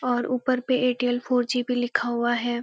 और ऊपर पे एयरटेल फोर जी भी लिखा हुआ है।